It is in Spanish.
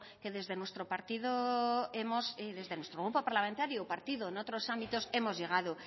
que desde nuestro partido hemos desde nuestro grupo parlamentario partido en otros ámbitos hemos llegado